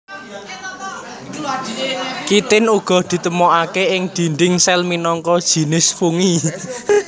Kitin uga ditemokaké ing dinding sel minangka jinis fungi